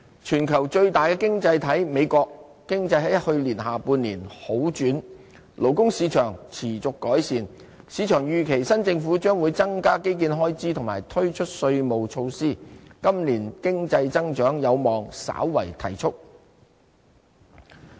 全球最大的經濟體美國，其經濟在去年下半年好轉，勞工市場持續改善，市場預期新政府將會增加基建開支和推出稅務措施，今年經濟增長有望稍為提速。